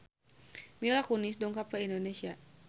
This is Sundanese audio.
Mila Kunis dongkap ka Indonesia